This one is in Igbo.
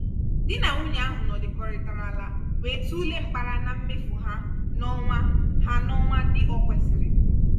dí nà nwunye ahụ nọdụkọrịtara ala wee tulee mkpara na mmefu há n'ọnwa há n'ọnwa dị o kwesịrị.